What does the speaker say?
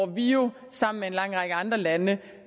vi jo sammen med en lang række andre lande